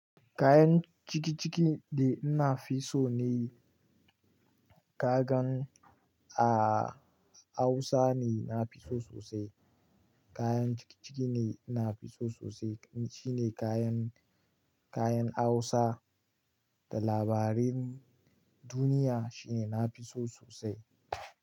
Kayan cikiciki da ina fi so ne kagan a Hausa ne na fi so sosai. Kayan cikiciki ne ina fi so sosai. Shi ne kayan, kayan Hausa da labaran duniya shi ne na fi so sosai.